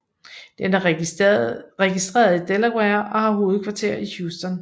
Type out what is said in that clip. Den er registreret i Delaware og har hovedkvarter i Houston